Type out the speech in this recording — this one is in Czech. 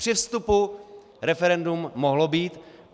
Při vstupu referendum mohlo být.